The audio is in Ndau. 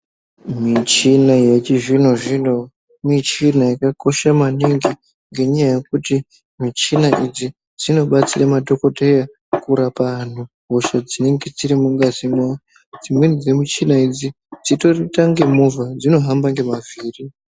Michini yechizvino zvino michina yakakosha maningi ngenyaya yekuti michina idzi dzinobatsire madhokodheya kurapa anhu hosha dzinenge dziri mungazi mwawo dzimweni dzemichina idzi dzinoita unge movha dzinohamba ngemavhiri.